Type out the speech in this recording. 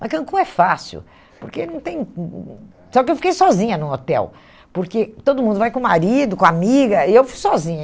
Mas Cancún é fácil, porque não tem... Hum hum hum só que eu fiquei sozinha no hotel, porque todo mundo vai com o marido, com a amiga, e eu fui sozinha.